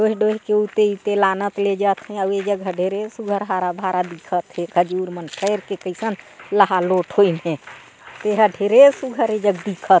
डोहे डोहे उते इते लानत ले जात हे अउ ए जघा ढेरे सुघ्घर हरा-भरा दिखत हे खजूर मन खईर के कइसन लहालोट होइन हे तेहा ढेरे सुघ्घर ए जग दिखत --